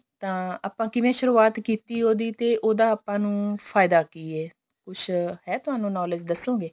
ਤਾਂ ਆਪਾਂ ਕਿਵੇਂ ਸ਼ੁਰੁਵਾਤ ਕੀਤੀ ਉਹਦੀ ਤੇ ਉਹਦਾ ਆਪਾਂ ਨੂੰ ਫਾਇਦਾ ਕਿ ਐ ਕੁੱਛ ਹੈਂ ਤੁਹਾਨੂੰ knowledge ਦੱਸੋਗੇ